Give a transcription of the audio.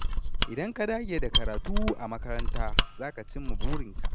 Idan ka dage da karatu a makaranta, za ka cimma burinka.